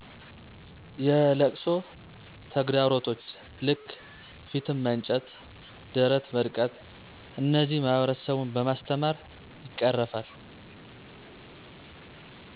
የለቅሶ ተግዳሮቶች ልክ ፊትን መንጨት፣ ደረት መድቃት፣ እነዚህን ማህበረሰቡን በማስተማር ይቀረፋል።